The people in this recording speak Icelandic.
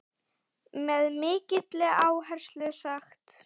Með mikilli áherslu sagt.